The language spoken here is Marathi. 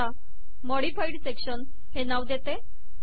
मी याला मॉडिफाइड सेक्शन हे नाव देते